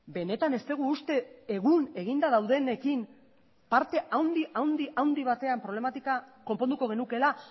benetan ez dugu uste egun eginda daudenekin parte handi handi handi batean problematika konponduko genukeela